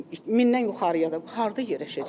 Mindən yuxarıya da harda yerləşəcək bu?